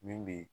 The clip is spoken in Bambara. Min bɛ